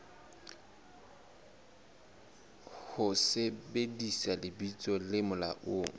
ho sebedisa lebitso le molaong